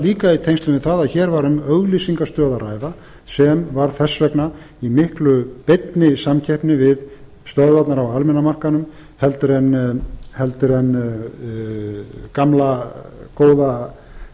líka í tengslum við það að hér var um auglýsingastöð að ræða sem var þess vegna í miklu beinni samkeppni við stöðvarnar á almenna markaðnum en gamla góða